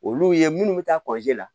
Olu ye minnu bɛ taa la